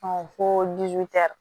ko